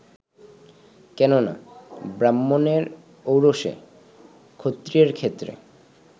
কেন না, ব্রাহ্মণের ঔরসে, ক্ষত্রিয়ের ক্ষেত্রে